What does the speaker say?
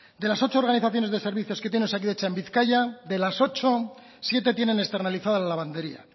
de las ocho organizaciones de servicios que tienen osakidetza en bizkaia de las ocho siete tienen externalizada la lavandería